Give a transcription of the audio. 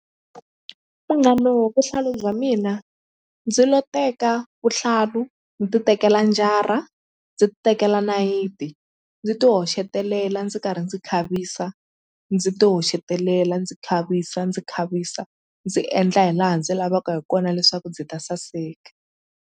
Munghano wa vuhlalu bya mina ndzi lo teka vuhlalu ni ti tekela njhara ndzi tekela nayiti ndzi ti hoxetelela ndzi karhi ndzi khavisa ndzi ti hoxetelela ndzi khavisa ndzi khavisa ndzi endla hi laha ndzi lavaka hi kona leswaku byi ta saseka.